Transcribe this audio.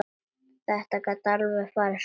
Þetta gat alveg farið svona.